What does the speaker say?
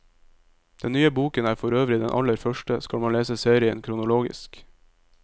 Den nye boken er forøvrig den aller første, skal man lese serien kronologisk.